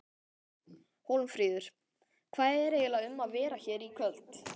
Hólmfríður, hvað er eiginlega um að vera hér í kvöld?